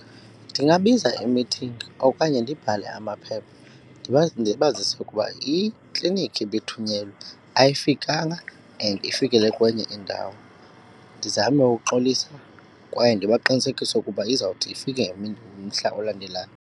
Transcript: Ndingabiza imithingi okanye ndibhale amaphepha ndibazise ukuba iklinikhi ibithunyelwe ayifikanga and ifikelele kwenye indawo. Ndizame ukuxolisa kwaye ndibaqinisekise ukuba izawuthi ifike ngemini, ngomhla olandelayo.